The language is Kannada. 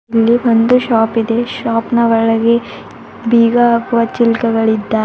ಇಲ್ಲಿ ಒಂದು ಶಾಪ್ ಇದೆ ಶಾಪ್ನ ಒಳಗೆ ಬೀಗ ಹಾಕುವ ಚಿಲ್ಕಗಳಿದ್ದಾ--